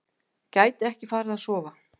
Gæti ekki farið að sofa.